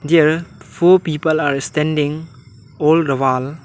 there four people are standing all the wall.